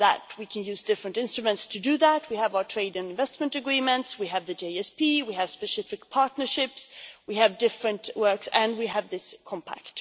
We can use different instruments to do that, we have our trade and investment agreements, we have the GSP, we have specific partnerships, we have different works and we have this Compact.